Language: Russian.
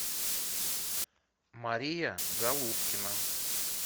мария голубкина